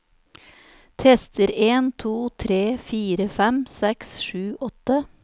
Tester en to tre fire fem seks sju åtte